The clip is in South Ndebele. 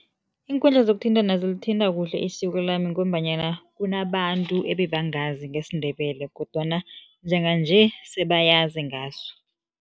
Iinkundla zokuthintana zilithinta kuhle isiko lami ngombanyana kunabantu ebangazi ngesiNdebele kodwana njenganje sebayazi ngaso.